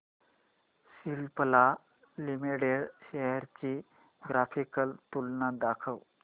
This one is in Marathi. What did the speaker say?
सिप्ला लिमिटेड शेअर्स ची ग्राफिकल तुलना दाखव